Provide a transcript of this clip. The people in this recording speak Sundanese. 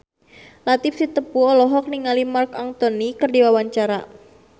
Latief Sitepu olohok ningali Marc Anthony keur diwawancara